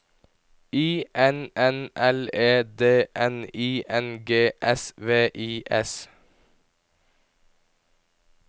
I N N L E D N I N G S V I S